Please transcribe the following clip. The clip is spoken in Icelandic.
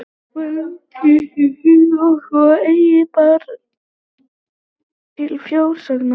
Var nú kyrrt um hríð svo að eigi bar til frásagna.